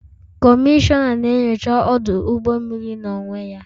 Kọmishọna na-enyocha ọdụ ụgbọ mmiri n'onwe ya